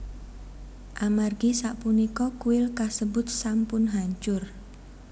Amargi sapunika kuil kasebut sampun hancur